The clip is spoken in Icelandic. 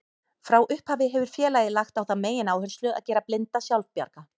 Frá upphafi hefur félagið lagt á það megináherslu að gera blinda sjálfbjarga.